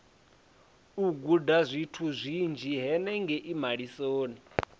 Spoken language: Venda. u gudazwithu zwinzhi henengei malisoni